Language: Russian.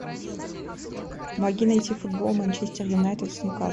помоги найти футбол манчестер юнайтед с ньюкаслом